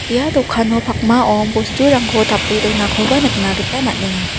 ia dokano pakmao bosturangko tape donakoba nikna gita man·enga.